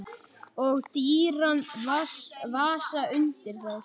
Og dýran vasa undir þær.